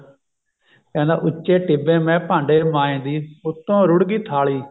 ਕਹਿੰਦਾ ਉੱਚੇ ਟਿੱਬੇ ਮੈਂ ਭਾਂਡੇ ਮਾਂਜਦੀ ਉੱਤੋਂ ਰੁੜ ਗਈ ਥਾਲੀ